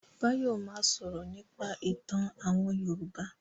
Báyọ̀ ma sọ̀rọ̀ nípa ìtàn àwọn Yorùbá